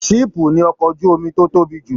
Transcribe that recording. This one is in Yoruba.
Siipu ní ọkọ ojú omi tó tóbi jù.